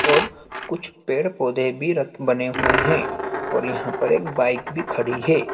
और कुछ पेड़ पौधे भी रक बने हुए हैं और यहां पर एक बाइक भी खड़ी है।